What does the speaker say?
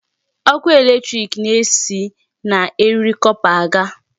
Ọkụ electric na-esi na eriri copper aga.